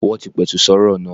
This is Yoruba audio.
Wọ́n ti pẹ̀tù sọ́rọ̀ náà.